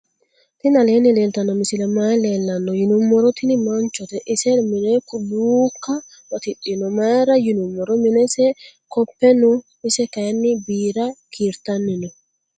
tini aleni leltano misileni maayi leelano yinnumoro. tini manchote ise mine luuka batidhino mayira yinumiro minese kope noo. ise kayini biira kirtani noo.